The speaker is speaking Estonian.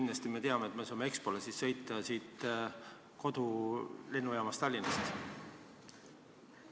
Kas on kindel, et me saame Expole sõita otse kodulennujaamast Tallinnast?